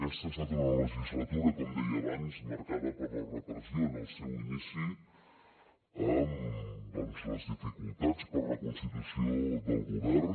aquesta ha estat una legislatura com deia abans marcada per la repressió en el seu inici amb doncs les dificultats per la constitució del govern